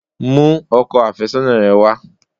Mú ọkọ àfẹ́sọ́nà rẹ wá!